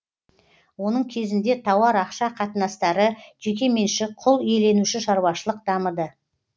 оның кезінде тауар ақша қатынастары жеке меншік құл иеленуші шаруашылық дамыды